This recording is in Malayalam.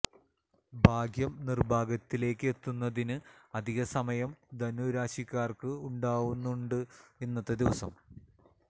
ഭാഗ്യം നിര്ഭാഗ്യത്തിലേക്ക് എത്തുന്നതിന് അധികം സമയം ധനു രാശിക്കാര്ക്ക് ഉണ്ടാവുന്നുണ്ട് ഇന്നത്തെ ദിവസം